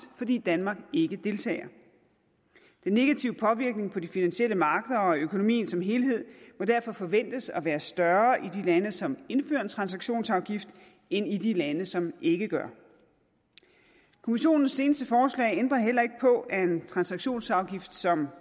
fordi danmark ikke deltager den negative påvirkning på de finansielle markeder og økonomien som helhed må derfor forventes at være større i de lande som indfører en transaktionsafgift end i de lande som ikke gør kommissionens seneste forslag ændrer heller ikke på at en transaktionsafgift som